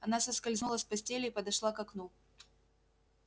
она соскользнула с постели и подошла к окну